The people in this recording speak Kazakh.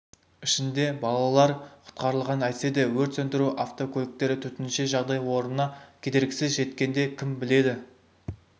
ішінде балалар құтқарылған әйтсе де өрт сөндіру автокөліктері төтенше жағдай орнына кедергісіз жеткенде кім біледі